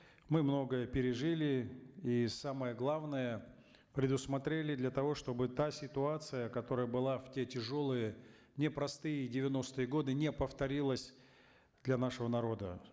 мы многое пережили и самое главное предусмотрели для того чтобы та ситуация которая была в те тяжелые непростые девяностые годы не повторилась для нашего народа